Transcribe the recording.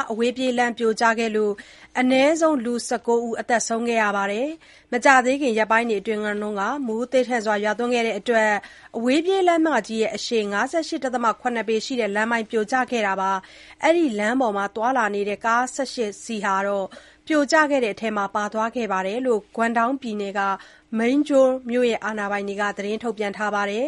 အဝေးပြေးလမ်း ပြိုကျမှုကြောင့် ၁၉ ဦး သေဆုံး မကြာသေးခင်ရက်ပိုင်းအတွင်းက မိုးသည်းထန်စွာရွာသွန်းခဲ့တဲ့အတွက် အဝေးပြေးလမ်းမကြီးရဲ့ အရှည် ၅၈.၇ ပေရှိတဲ့ လမ်းပိုင်း ပြိုကျခဲ့ပြီး အဲ့ဒီလမ်းပေါ်မှာ သွားနေတဲ့ ကား ၁၈ စီးက ပြိုကျခဲ့တဲ့အထဲကို ပါသွားခဲ့တယ်လို့ ဂွမ်ဒေါင်းပြည်နယ် Meizhou မြို့ အာဏာပိုင်တွေက သတင်းထုတ်ပြန်ထားပါတယ်